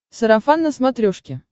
сарафан на смотрешке